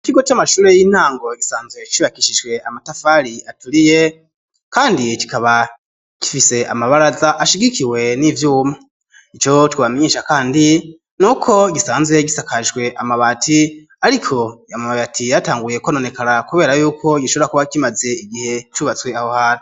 Ikigo c'amashure y'intango gisanzwe cubakishishwe amatafari aturiye, kandi kikaba kifise amabaraza ashigikiwe n'ivyouma i co twamninsha, kandi n'uko gisanzwe gisakashwe amabati, ariko yamababati yatanguye kononekara, kubera yuko gishobora kuba kimaze igihe cubatswe aho hara.